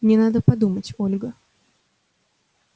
мне надо подумать ольга